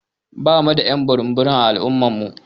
Ɓamu da y'an burum burum a al'umma namu.